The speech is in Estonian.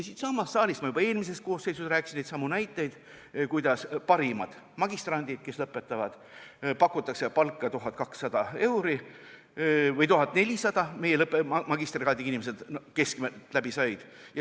Siinsamas saalis tõin ma juba eelmises koosseisus neidsamu näiteid, kuidas parimatele magistrantidele, kes lõpetasid, pakuti palka 1200 või 1400 eurot – meie magistrikraadiga inimesed, kes läbi said.